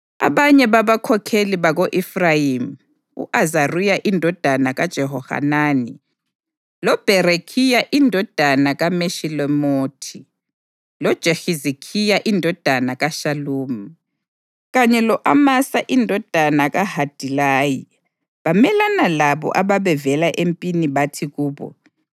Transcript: Abanye babakhokheli bako-Efrayimi u-Azariya indodana kaJehohanani, loBherekhiya indodana kaMeshilemothi, loJehizikhiya indodana kaShalumi, kanye lo-Amasa indodana kaHadilayi bamelana lalabo ababevela empini bathi kubo,